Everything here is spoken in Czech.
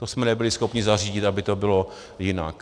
To jsme nebyli schopni zařídit, aby to bylo jinak.